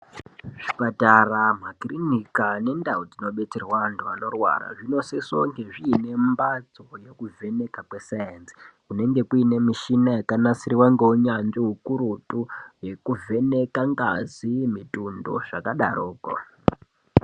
Kuzvipatara makirinika ngendau inodetserwa antu anorwara inosese kunge ine mbatso yekuvheneka kwe sainzi kunenge kune michini yakanasirwa ngeunyanzvi hukurutu yekuvheneka ngazi mutundo zvakadaroko.